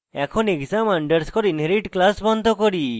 এখন exam underscore inherit class বন্ধ করি